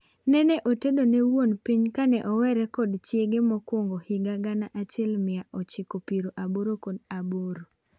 Nene otedone wuon piny kane oweere kod chiege mokwongo higa gana achiel mia ochiko piero boro kod aboro.